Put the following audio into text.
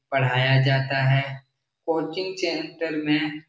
पढ़ाया जाता है कोचिंग चेन्टर में --